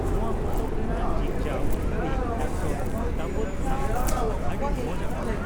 ᱱᱚᱣᱟ ᱯᱚᱛᱚᱵ ᱨᱮᱱᱟᱜ ᱡᱤᱜᱽ ᱡᱟᱜᱽ ᱛᱦᱨᱤ ᱰᱚᱠᱴᱚᱨᱹ ᱫᱟᱞᱚᱵᱽ ᱥᱟᱦᱴᱟ ᱟᱹᱰᱤ ᱢᱟᱡᱽ ᱟᱠᱟᱱᱟ ᱾